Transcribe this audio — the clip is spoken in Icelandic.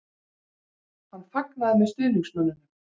Hann fagnaði með stuðningsmönnunum?